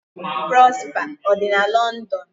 Prosper ọ dị na London?'